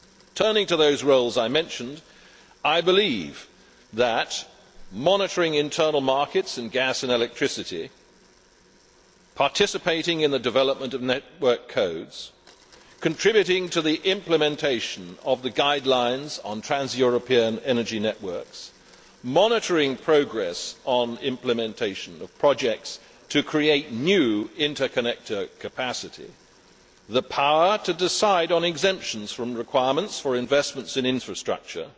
Turning to the roles I mentioned, I believe that monitoring internal markets in gas and electricity, participating in the development of network codes, contributing to the implementation of the guidelines on trans European energy networks, monitoring progress on implementation of projects to create new interconnector capacity, having the power to decide on exemptions from requirements for investments in infrastructure,